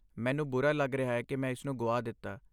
ਮੈਨੂੰ ਬੁਰਾ ਰਿਹਾ ਹੈ ਕਿ ਮੈਂ ਇਸਨੂੰ ਗੁਆ ਦਿੱਤਾ।